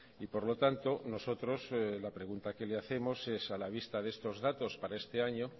y por lo tanto nosotros la pregunta que le hacemos es a la vista de estos datos para este año